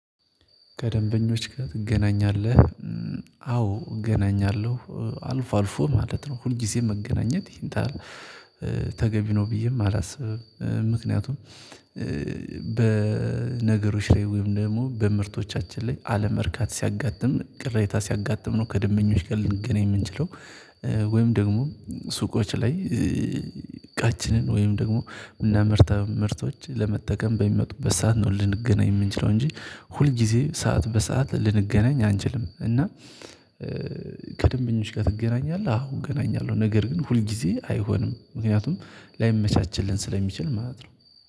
"ከደንበኞች ጋር ትገናኛለህ?" አዎ እገናኛለሁ አልፎ አልፎ ማለት ነው። ሁልጊዜ መገናኘት ሄንታ ተገቢ ነው ብዬም አላስብም። ምክንያቱም በነገሮች ላይ ወይም ደግሞ በምርቶቻችን ላይ አለመርካት ሲያጋጥም ቅሬታ ሲያጋጥም ነው ከደንበኞች ጋር ልንገናኝ የምንችለው። ወይም ደግሞ ሱቆች ላይ እቃችንን ወይም ደግሞ እና ምርታ ምርቶች ለመጠቀም በሚመጡበት ሰዓት ነው ልንገናኝ የምንችለው እንጂ ሁል ጊዜ ሰዓት በሰአት ልንገናኝ አንችልም፤ እና "ከደንበኞች ጋር ትገናኛለህ?" አዎ እገናኛለሁ፤ ነገር ግን ሁል ጊዜ አይሆንም። ምክንያቱም ላይመቻቸልን ስለሚችል ማለት ነው።